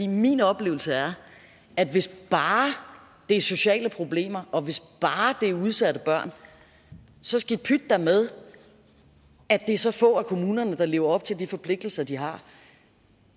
min oplevelse er at hvis bare det er sociale problemer og hvis bare det er udsatte børn så skidt pyt da med at det er så få af kommunerne der lever op til de forpligtelser de har